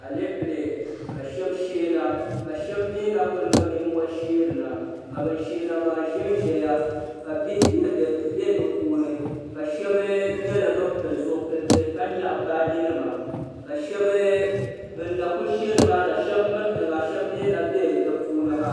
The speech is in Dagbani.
alɛɛpilɛ ka shɛb shɛna ka shɛbi mi na kuli niŋ nimohi shɛrina ka bɛn shɛna maa ʒɛnʒɛya ka bihi bɛ be puuni ka shɛba nyɛla bɛnpili zilitɛ ka nyɛɣ' baaji nima ka shɛɛbi bɛna kuli shɛrina shɛb miritɛŋa shɛb mi na bɛ di puuniha